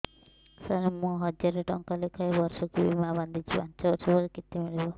ସାର ମୁଁ ହଜାରେ ଟଂକା ଲେଖାଏଁ ବର୍ଷକୁ ବୀମା ବାଂଧୁଛି ପାଞ୍ଚ ବର୍ଷ ପରେ କେତେ ମିଳିବ